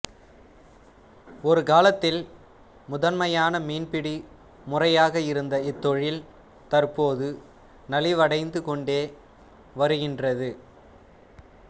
ஒருகாலத்தில் முதன்மையான மீன்பிடி முறையாக இருந்த இத்தொழில் தற்போது நலிவடைந்து கொண்டே வருகின்றது